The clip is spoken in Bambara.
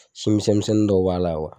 Simisɛmisɛnnin dɔ b'a la wa?